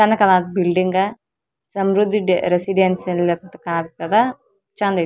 ಚಂದ್ ಕಾಣತ್ತ್ building Samruddhi residency ಯಲ್ಲ ಕಾಣ್ತದ ಚಂದ್ ಇತ್ತ್.